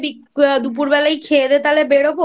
দুপুরবেলা খেয়ে দেয়ে তাহলে বেরোব I